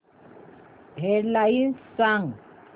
head lines सांग